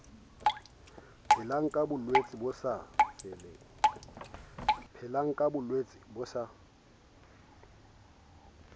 phelang ka bolwetse bo sa